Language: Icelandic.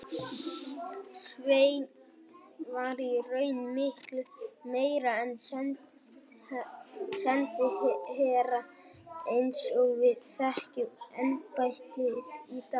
Sveinn var í raun miklu meira en sendiherra eins og við þekkjum embættið í dag.